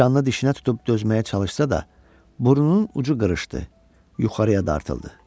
Canını dişinə tutub dözməyə çalışsa da, burnunun ucu qırışdı, yuxarıya dartıldı.